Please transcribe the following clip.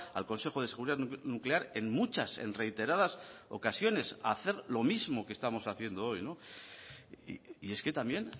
al consejo de seguridad nuclear en muchas en reiteradas ocasiones a hacer lo mismo que estamos haciendo hoy y es que también